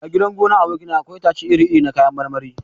A gidan gonar aboki na akwai itace iri iri na kayan marmari.